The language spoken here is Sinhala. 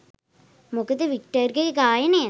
මොකද වික්ටර්ගේ ගායනය